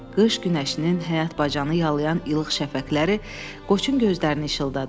Qış günəşinin həyat bacanı yalıyan ilıq şəfəqləri qoçun gözlərini işıldadırdı.